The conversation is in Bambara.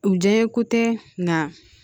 U diya ye ko tɛ nka